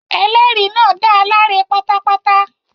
Ẹlẹ́rìí náà dá a láre pátápátá.